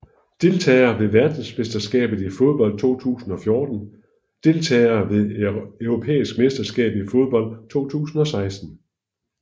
Deltagere ved verdensmesterskabet i fodbold 2014 Deltagere ved det europæiske mesterskab i fodbold 2016